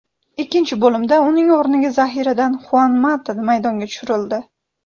Ikkinchi bo‘limda uning o‘rniga zaxiradan Xuan Mata maydonga tushirildi.